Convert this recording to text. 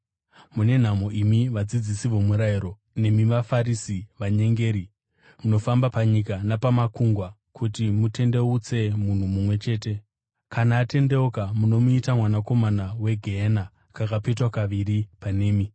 “Mune nhamo imi vadzidzisi vomurayiro nemi vaFarisi, vanyengeri! Munofamba panyika napamakungwa kuti mutendeutse munhu mumwe chete. Kana atendeuka munomuita mwanakomana wegehena kakapetwa kaviri panemi.